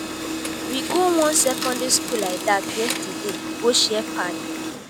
we go wan secondary school like dat yesterday go share pad.